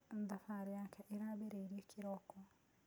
Thabarĩ yake ĩrabĩrĩĩrĩe kĩroko.